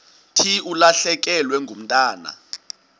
thi ulahlekelwe ngumntwana